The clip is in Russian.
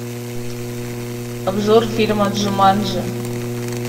обзор фильма джуманджи